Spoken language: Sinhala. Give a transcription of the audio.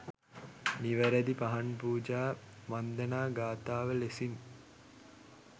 නිවැරැදි පහන් පූජා වන්දනා ගාථාව ලෙසින්